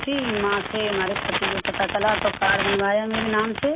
وہاں سے ہمارے شوہر کو معلوم ہوا تو کارڈ بنوایا میرے نام سے